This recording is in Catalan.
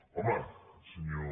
home senyor